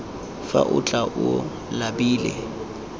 fa o tla o labile